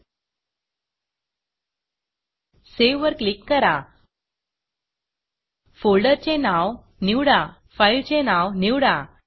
save वर click करा फोल्डरचे नाव निवडा fileफाइलचे नाव निवडा